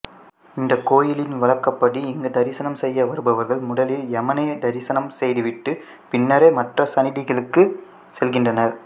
இக் கோயிலின் வழக்கப்படி இங்கு தரிசனம் செய்ய வருபவர்கள் முதலில் யமனை தரிசனம் செய்துவிட்டு பின்னரே மற்ற சன்னிதிகளுக்குச் செல்கின்றனர்